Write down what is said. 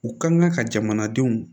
U kan ka jamanadenw